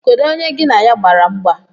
Kedụ onye gi na ya gbara mgba?